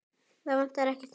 Það vantar ekkert, ha?